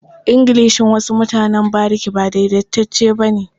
Ingilishin wasu mutanen bariki ba daidaitacce ba ne.